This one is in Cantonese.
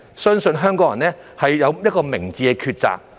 相信香港人一定有明智的抉擇。